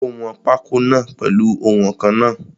Ó wọn pákó náà pèlu oùnwọ̀nkan náà.